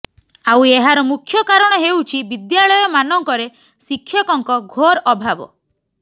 ଆଉ ଏହାର ମୁଖ୍ୟ କାରଣ ହେଉଛି ବିଦ୍ୟାଳୟମାନଙ୍କରେ ଶିକ୍ଷକଙ୍କ ଘୋର ଅଭାବ